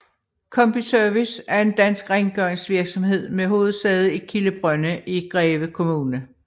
Combi Service er en dansk rengøringsvirksomhed med hovedsæde i Kildebrønde i Greve Kommune